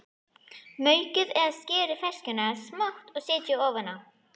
Maukið eða skerið ferskjurnar smátt og setjið ofan á.